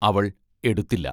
അവൾ എടുത്തില്ല.